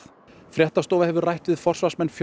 fréttastofa hefur rætt við forsvarsmenn